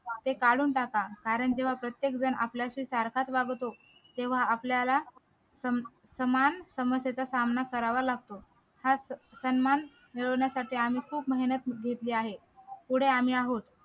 ते काढून टाका कारण किंवा प्रत्येक जण आपल्याशी सारखाच वागतो तेव्हा आपल्याला समान समस्येचा सामना करावा लागतो सन्मान मिळवण्यासाठी आम्ही खूप मेहनत घेतली आहे पुढे आम्ही आहोत